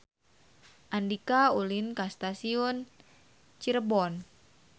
Andika ulin ka Stasiun Cirebon